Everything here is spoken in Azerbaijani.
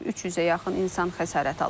300-ə yaxın insan xəsarət alıb.